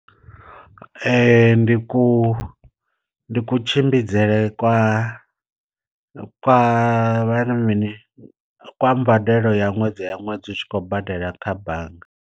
Ndi ku ndi kutshimbidzele kwa kwa vhari mini kwa mbadelo ya ṅwedzi ya ṅwedzi u tshi khou badela kha bannga.